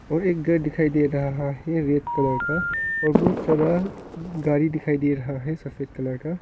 और एक घर दिखाई दे रहा है रेड कलर का और बहुत सारा गाड़ी दिखाई दे रहा है सफेद कलर का।